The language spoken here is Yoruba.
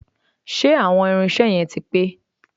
Ṣé àwọn irinṣẹ́ yẹn ti pé?